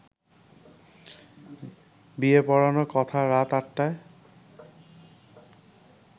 বিয়ে পড়ানোর কথা রাত আটটায়